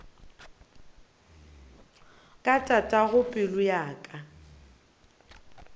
ka tatago pelo ya ka